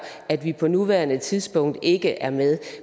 at vi på nuværende tidspunkt ikke er med